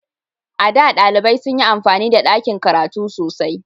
A da, ɗalibai sun yi amfani da dakin karatu sosai.